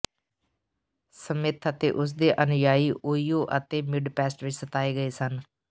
Smith ਅਤੇ ਉਸਦੇ ਅਨੁਯਾਈ ਓਹੀਓ ਅਤੇ ਮਿਡਪੈਸਟ ਵਿੱਚ ਸਤਾਏ ਗਏ ਸਨ